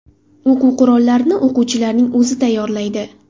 O‘quv qurollarini o‘quvchilarning o‘zi tayyorlaydi.